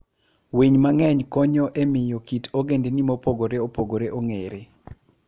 Winy mang'eny konyo e miyo kit ogendini mopogore opogore ong'ere.